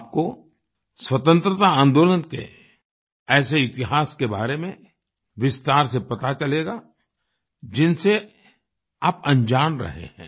आपको स्वतंत्रता आंदोलन के ऐसे इतिहास के बारे में विस्तार से पता चलेगा जिनसे आप अनजान रहे हैं